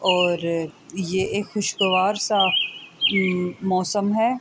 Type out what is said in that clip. اور یہ ایک خوشگوار سا موسم ہے۔